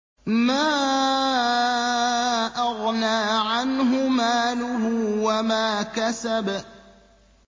مَا أَغْنَىٰ عَنْهُ مَالُهُ وَمَا كَسَبَ